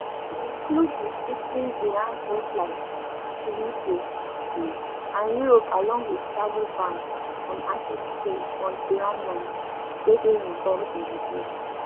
e include restricting iran air flights to uk um and europe along wit travel ban and asset freeze on iranians wey dey involved in di deal